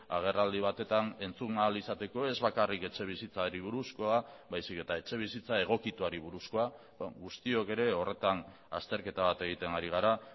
agerraldi batetan entzun ahal izateko ez bakarrik etxebizitzari buruzkoa baizik eta etxebizitza egokituari buruzkoa guztiok ere horretan azterketa bat egiten ari gara